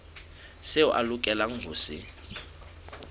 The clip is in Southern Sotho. seo a lokelang ho se